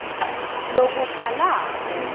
lokubhalako